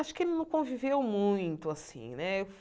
Acho que ele não conviveu muito, assim, né?